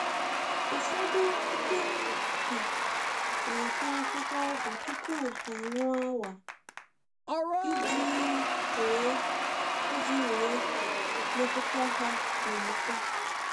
um Ụfọdụ um ndị ọrụ ubi na-ata akwụkwọ ọgwụ tupu anwụ awaa, iji nwee iji nwee mmetụta ha na eke